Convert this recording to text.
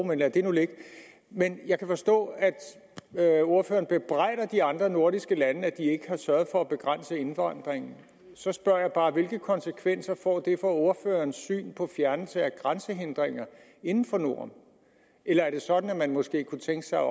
men lad det nu ligge men jeg kan forstå at ordføreren bebrejder de andre nordiske lande at de ikke har sørget for at begrænse indvandringen så spørger jeg bare hvilke konsekvenser får det for ordførerens syn på fjernelse af grænsehindringer inden for norden er det sådan at man måske kunne tænke sig